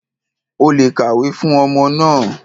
O lè kàwé fún ọmọ náà.